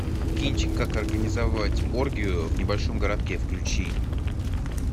кинчик как организовать оргию в небольшом городке включи